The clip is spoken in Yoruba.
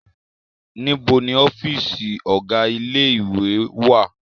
Níbo ni ọ́fíísì ọ̀gá ilé-ìwé wá à?